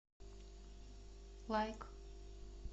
лайк